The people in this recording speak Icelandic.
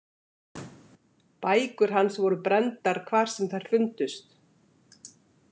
Bækur hans voru brenndar hvar sem þær fundust.